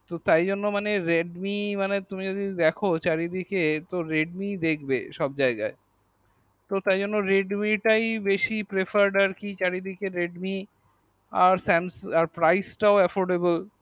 তো তাই জন্য মানে redmi মানে তুমি যদি দেখো চারিদিকে তো redmi দেখবে সব জায়গায় তো তাই জন্য redmi তাই বেশি prefer আর কি চারিদিক এ redmi আর samsung আর price তা affordable